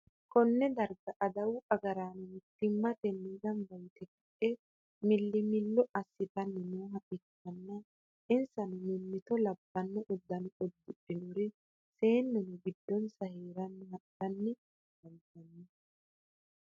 konne darga adawu agaraano mittimmatenni gamba yite ka'e milli-millo assitanni nooha ikkanna, insano, mimmito labbanno uddano uddidhinori seennuno giddonsa hee'ranna hadhannni afantanno.